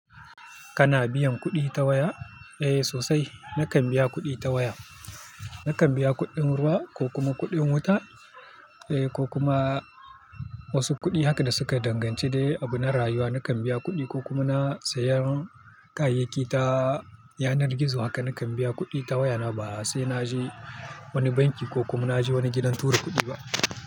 Kana biyan kuɗi ta waya? Eh sosai nakan biya kuɗi ta waya. Nakan biya kuɗin ruwa ko kuma kuɗin wuta eh ko kuma wasu kuɗi haka da suka danganci dai abu na rayuwa nakan biya kuɗi ko kuma na sayan kayayyaki ta yanar gizo haka nakan biya kuɗi ta waya na ba sai na je wani banki ko kuma na je wani gidan tura kuɗi ba.